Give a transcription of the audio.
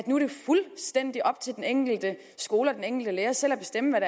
nu er fuldstændig op til den enkelte skole og den enkelte lærer selv at bestemme